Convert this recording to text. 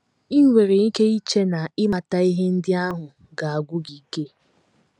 I nwere ike iche na ịmata ihe ndị ahụ ga - agwụ gị ike.